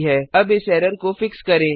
अब इस एरर को फिक्स करें